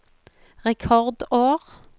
rekordår